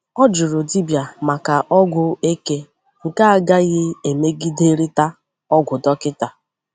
Ọ jụrụ dibịa maka ọgwụ eke nke agaghị emegiderịta ọgwụ dọkịta.